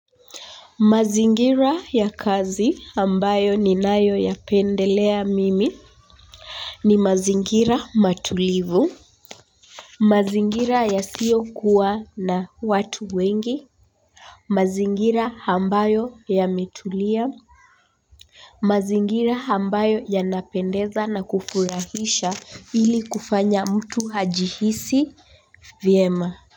Mazingira ya kazi ambayo ninayoyapendelea mimi. Ni mazingira matulivu. Mazingira yasiokuwa na watu wengi. Mazingira ambayo yametulia. Mazingira ambayo yanapendeza na kufurahisha ili kufanya mtu ajihisi vyema.